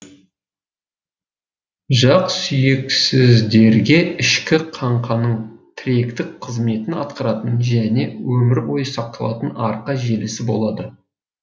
жақсүйексіздерде ішкі қаңқаның тіректік қызметін атқаратын және өмір бойы сақталатын арқа желісі болады